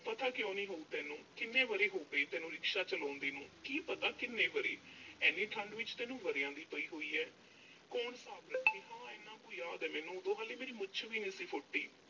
ਪਤਾ ਕਿਉਂ ਨਹੀਂ ਹੋਊ ਤੈਨੂੰ। ਕਿੰਨ ਵਰ੍ਹੇ ਹੋ ਗਏ ਤੈਨੂੰ rickshaw ਚਲਾਉਂਦੇ ਨੂੰ। ਕੀ ਪਤਾ ਕਿੰਨੇ ਵਰ੍ਹੇ? ਇੰਨੀ ਠੰਡ ਵਿੱਚ ਤੈਨੂੰ ਵਰ੍ਹਿਆ ਦੀ ਪਈ ਹੋਈ ਐ। ਕੌਣ ਹਿਸਾਬ ਰੱਖੇ। ਹਾਂ ਇੰਨਾ ਕੁ ਯਾਦ ਆ ਮੈਨੂੰ, ਉਦੋਂ ਹਾਲੇ ਮੇਰੀ ਮੁੱਛ ਵੀ ਨਹੀਂ ਸੀ ਫੁੱਟੀ।